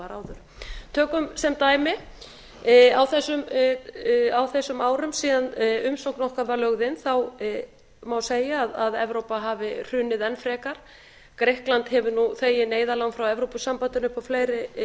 það var áður tökum sem dæmi á þessum árum síðan umsókn okkar var lögð inn má segja að evrópa hafi hrunið enn frekar grikkland hefur nú þegið neyðarlán frá evrópusambandinu upp á fleiri